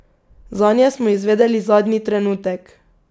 Zanje smo izvedeli zadnji trenutek.